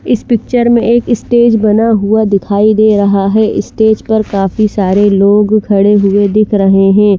इस पिचर में एक स्टेज बना हुआ दिखाई दे रहा हे स्टेज पर काफी सारे लोग खड़े हुए दिख रहे हे।